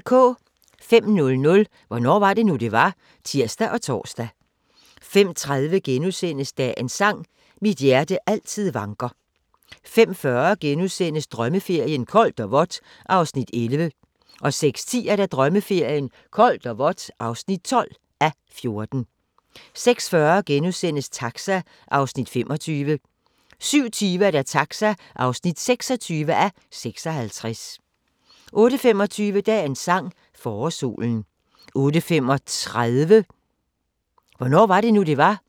05:00: Hvornår var det nu, det var? (tir og tor) 05:30: Dagens sang: Mit hjerte altid vanker * 05:40: Drømmeferien: Koldt og vådt (11:14)* 06:10: Drømmeferien: Koldt og vådt (12:14) 06:40: Taxa (25:56)* 07:20: Taxa (26:56) 08:25: Dagens sang: Forårssolen 08:35: Hvornår var det nu, det var?